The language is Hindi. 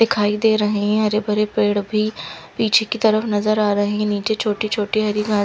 दिखाई दे रहे है हरे भरे पेड़ भी पीछे की तरफ नज़र आ रहे है निचे छोटे छोटे हरी घास--